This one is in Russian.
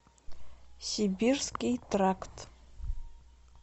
сибирский тракт